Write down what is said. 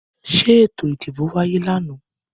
Ṣé eto ìdìbò wáyé lànà?